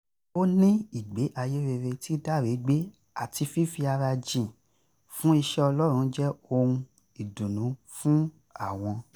ó ní ìgbé ayé rere tí dáre gbé àti fífi ara jìn fún iṣẹ́ ọlọ́run jẹ́ ohun ìdùnnú fún àwọn